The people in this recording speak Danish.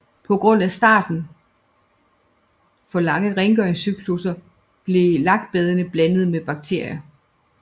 På grund af i starten for lange rengøringscyklusser blev lakbadene blandet med bakterier